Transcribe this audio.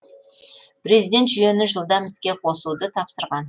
президент жүйені жылдам іске қосуды тапсырған